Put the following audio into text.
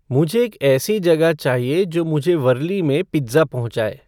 मुझे एक ऐसी जगह चाहिए जो मुझे वर्ली में पिज़्ज़ा पहुँचाए